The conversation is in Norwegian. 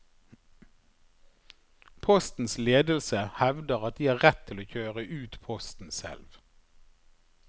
Postens ledelse hevder at de har rett til å kjøre ut posten selv.